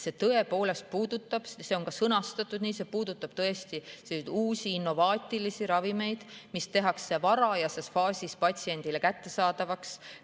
See on ka sõnastatud nii, et see puudutab tõesti uusi, innovaatilisi ravimeid, mis tehakse varajases faasis patsiendile kättesaadavaks.